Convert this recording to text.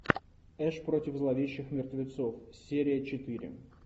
эш против зловещих мертвецов серия четыре